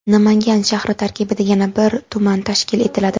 Namangan shahri tarkibida yana bir tuman tashkil etiladi.